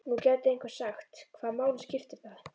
Nú gæti einhver sagt: Hvaða máli skiptir það?